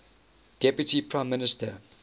deputy prime minister